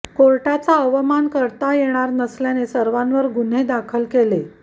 कोर्टाचा अवमान करता येणार नसल्याने सर्वांवर गुन्हे दाखल केले